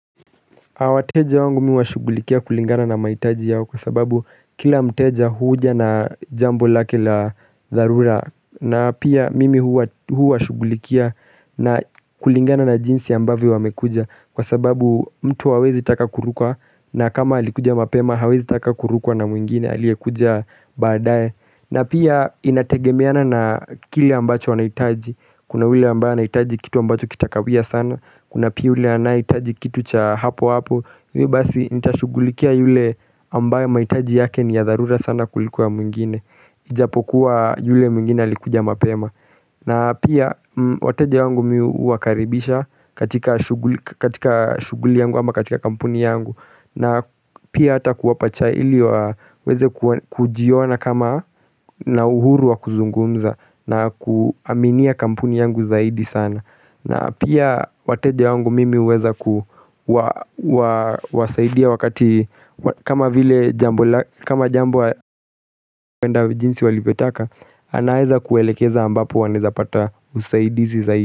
Awateja wangu mi huwa shugulikia kulingana na maitaji yao kwa sababu kila mteja huuja na jambo lake la zarura na pia mimi huwa shugulikia na kulingana na jinsi ambavyo wamekuja kwa sababu mtu hawezi taka kurukwa na kama alikuja mapema hawezi taka kurukwa na mwingine aliekuja baadaye na pia inategemeana na kile ambacho wanaitaji kuna ule ambaye anaitaji kitu ambacho kitakawia sana Kuna pia ule anaitaji kitu cha hapo hapo hivyo basi nitashugulikia yule ambaye maitaji yake ni ya dharura sana kuliko ya mwingine Ijapokuwa yule mwingine alikuja mapema na pia wateja wangu mi uwakaribisha katika shuguli yangu ama katika kampuni yangu na pia hata kuwapa chai ili wa weze kujiona kama na uhuru wa kuzungumza na kuaminia kampuni yangu zaidi sana na pia wateja wangu mimi uweza kuwasaidia wakati kama vile jambo aikwenda jinsi walivyotaka anaeza kuelekeza ambapo wanaeza pata usaidizi zaidi.